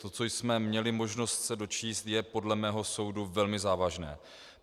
To, co jsme měli možnost se dočíst, je podle mého soudu velmi závažné.